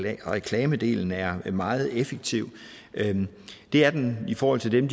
reklamedelen er meget effektiv det er den i forhold til dem